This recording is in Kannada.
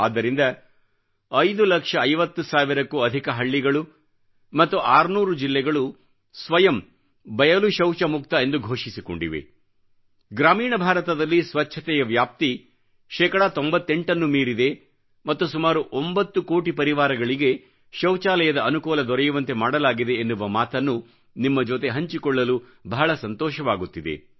ಆದ್ದರಿಂದ 5 ಲಕ್ಷ50 ಸಾವಿರಕ್ಕೂ ಅಧಿಕ ಹಳ್ಳಿಗಳು ಮತ್ತು 600 ಜಿಲ್ಲೆಗಳು ಸ್ವಯಂ ಬಯಲು ಶೌಚ ಮುಕ್ತ ಎಂದು ಘೋಷಿಸಿಕೊಂಡಿವೆ ಗ್ರಾಮೀಣ ಭಾರತದಲ್ಲಿ ಸ್ವಚ್ಚತೆಯ ವ್ಯಾಪ್ತಿ ಶೇಕಡಾ 98 ನ್ನು ಮೀರಿದೆ ಮತ್ತು ಸುಮಾರು 9 ಕೋಟಿ ಪರಿವಾರಗಳಿಗೆ ಶೌಚಾಲಯದ ಅನುಕೂಲ ದೊರೆಯುವಂತೆ ಮಾಡಲಾಗಿದೆ ಎನ್ನುವ ಮಾತನ್ನು ನಿಮ್ಮ ಜೊತೆ ಹಂಚಿಕೊಳ್ಳಲು ಬಹಳ ಸಂತೋಷವಾಗುತ್ತಿದೆ